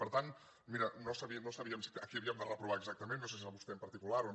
per tant mira no sabíem a qui havíem de reprovar exactament no sé si era a vostè en particular o no